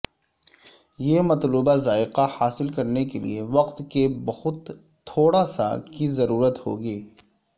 یہ مطلوبہ ذائقہ حاصل کرنے کے لئے وقت کے بہت تھوڑا سا کی ضرورت ہوگی